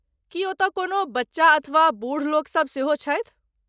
की ओतय कोनो बच्चा अथवा बूढ़ लोकसभ सेहो छथि?